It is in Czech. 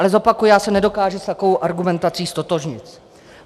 Ale zopakuji, já se nedokážu s takovou argumentací ztotožnit.